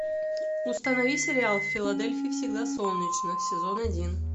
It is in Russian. установи сериал в филадельфии всегда солнечно сезон один